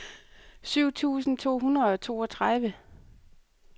syv tusind to hundrede og toogtredive